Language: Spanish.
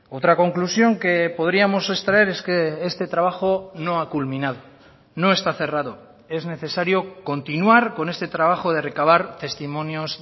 otra conclusión que podríamos extraer es que este trabajo no ha culminado no está cerrado es necesario continuar con este trabajo de recabar testimonios